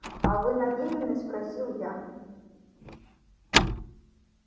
а вы намерены спросил я